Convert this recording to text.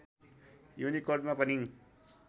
युनिकोडमा पनि